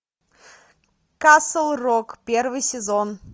касл рок первый сезон